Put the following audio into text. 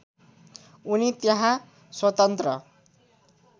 उनी त्यहाँ स्वतन्त्र